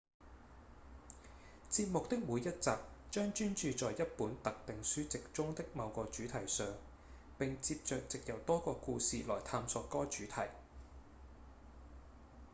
節目的每一集將專注在一本特定書籍中的某個主題上並接著藉由多個故事來探索該主題